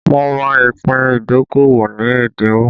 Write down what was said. Mo ra ìpín ìdókòwò ní ẹ́dínwó